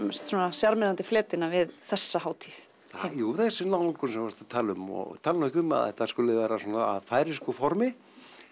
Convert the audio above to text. sjarmerandi fletina við þessa hátíð það er þessi nálgun sem þú varst að tala um og tala nú ekki um að þetta skuli vera svona á færeysku formi